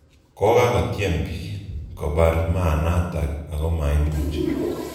Kokakotyem piik kopar maanatak ako maimuch.